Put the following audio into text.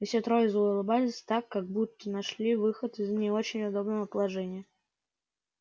и все трое заулыбались так будто нашли выход из не очень удобного положения